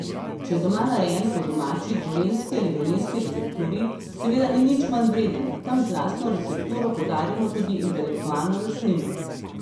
Če je doma narejen po domači, gorenjski ali dolenjski recepturi, seveda ni nič manj vreden, tam z lastno recepturo podarjamo tudi intelektualno lastnino!